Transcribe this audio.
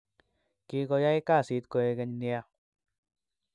kikoyai kasit koigeny nea